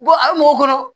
a bɛ mɔgɔ bolo